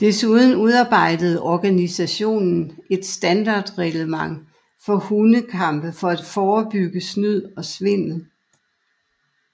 Desuden udarbejdede organisationen et standard reglement for hundekampe for at forebygge snyd og svindel